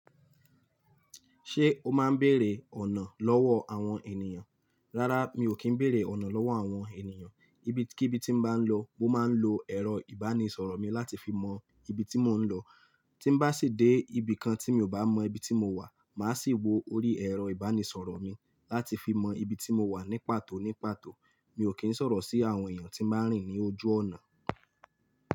Ṣé o máa ń bèrè ọ̀nà lọ́wọ́ àwọn ènìyàn? Rárá, mi ò kí ń bèrè ọ̀nà lọ́wọ́ àwọn ènìyàn. Ibi kí bí tí mo bá ń lọ, mo máa ń lo ẹ̀rọ ìbánisọ̀rọ̀ mi láti fi mọ ibi tí mò ń lọ. Tí bá sì dé ibi kan tí mi ò bá mọ ibi tí mo wà, màá sì wo orí ẹ̀rọ ìbánisọ̀rọ̀ mi láti fi mọ ibi tí mo wà ní pàtó ní pàtó. Mi ò kí ń sọ̀rọ̀ sí àwọn èèyàn tí máa ń rìn ní ojú ọ̀nà.